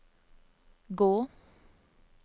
gå